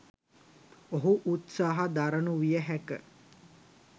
ඔහු උත්සාහ දරනු විය හැක